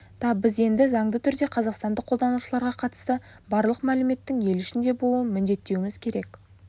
та біз енді заңды түрде қазақстандық қолданушыларға қатысты барлық мәліметтің ел ішінде болуын міндеттеуіміз керек